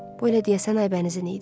Bu elə deyəsən Aybənizin idi.